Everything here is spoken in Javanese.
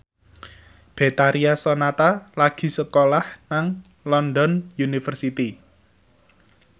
Betharia Sonata lagi sekolah nang London University